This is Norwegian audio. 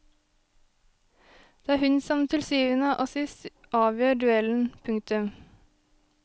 Det er hun som til syvende og sist avgjør duellen. punktum